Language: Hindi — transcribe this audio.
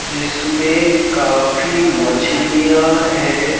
जिसमें काफी मछलियाँ हैं।